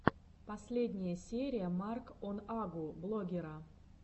последняя серия марк он агу блогера